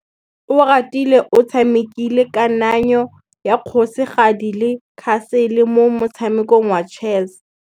Oratile o tshamekile kananyô ya kgosigadi le khasêlê mo motshamekong wa chess.